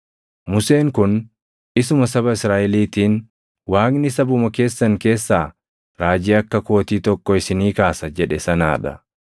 “Museen kun isuma saba Israaʼeliitiin, ‘Waaqni sabuma keessan keessaa raajii akka kootii tokko isinii kaasa’ + 7:37 \+xt KeD 18:15\+xt* jedhe sanaa dha.